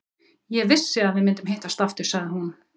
Ég vissi að við myndum hittast aftur, sagði hún.